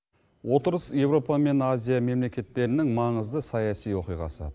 отырыс еуропа мен азия мемлекеттерінің маңызды саяси оқиғасы